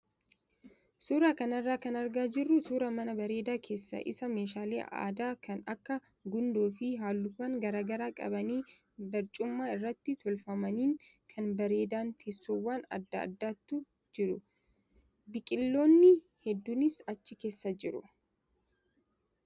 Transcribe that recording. Suuraa kanarraa kan argaa jirru suuraa mana bareedaa keessi isaa meeshaalee aadaa kan akka gundoo fi halluuwwan garaagaraa qabanii barcuma irratti tolfamaniin kan bareedan teessoowwan adda addaatu jiru. Biqiloonni hedduunis achi keessa jiru.